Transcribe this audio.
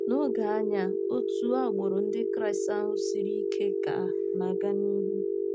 N'oge anyị a, otu agbụrụ Ndị Kraịst ahụ siri ike ka na-aga n'ihu.